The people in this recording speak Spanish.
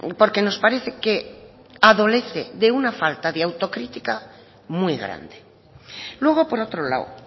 porque nos parece que adolece de una falta de autocrítica muy grande luego por otro lado